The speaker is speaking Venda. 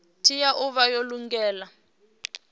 tea u vha yo lugela